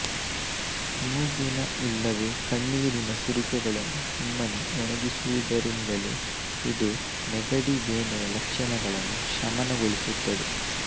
ಮೂಗಿನ ಇಲ್ಲವೇ ಕಣ್ಣೀರಿನ ಸುರಿಕೆಗಳನ್ನು ಸುಮ್ಮನೆ ಒಣಗಿಸುವುದರಿಂದಲೇ ಇದು ನೆಗಡಿ ಬೇನೆಯ ಲಕ್ಷಣಗಳನ್ನು ಶಮನಗೊಳಿಸುತ್ತದೆ